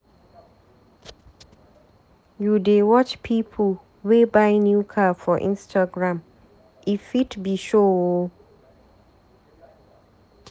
You dey watch pipu wey buy new car for Instagram, e fit be show o.